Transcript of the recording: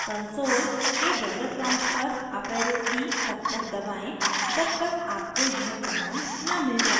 console के dollar prompt पर up arrow की तब तक दबाएं जब तक आपको यह command न मिल जाये